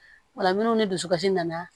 Ola minnu ni dusukasi nana